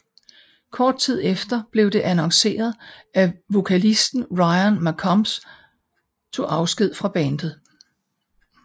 Kort tid efter blev det annonceret at vokalisten Ryan McCombs tog afsked fra bandet